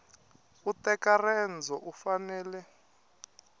u teka rendzo u fanele